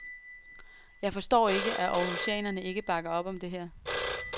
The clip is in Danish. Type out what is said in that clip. Jeg forstår ikke, at århusianerne ikke bakker op om dette her.